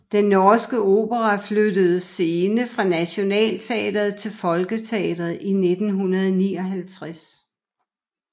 Den Norske Opera flyttede scene fra Nationaltheatret til Folketeatret i 1959